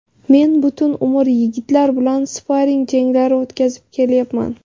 Men butun umr yigitlar bilan sparring janglari o‘tkazib kelyapman.